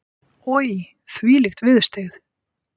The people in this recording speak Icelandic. Oj, þvílík viðurstyggð.